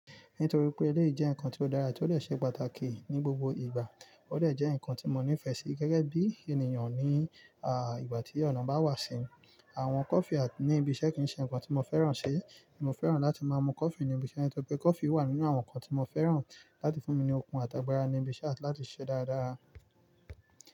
Nítorí pé eléyìí jẹ́ nǹkan tó dára ètò lè ṣe pàtàkì ní gbogbo ìgbà, ó dè jẹ́ nǹkan tí mo nífẹ̀ẹ́ sí gẹ́gẹ́ bí ènìyàn ní, à, ìgbà tí ọ̀nà bá wà sí. Àwọn coffee ní ibi iṣẹ́ kì í ṣe nǹkan tí mo fẹ́ràn ṣi, mo fẹ́ràn láti máa mu coffee ní ibi iṣẹ́ nítorí pé coffee wà nínú àwọn nǹkan tí mo fẹ́ràn láti fún mi ní okun àti agbára ní ibi iṣẹ́ àti lati ṣe dáradára.